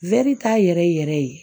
t'a yɛrɛ yɛrɛ ye